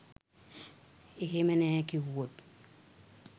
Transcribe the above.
එහෙම නැහැ කිව්වොත්